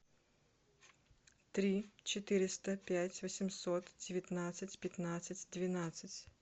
три четыреста пять восемьсот девятнадцать пятнадцать двенадцать